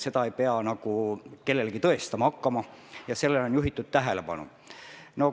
Seda ei pea kellelegi tõestama hakkama ja sellele on ka tähelepanu juhitud.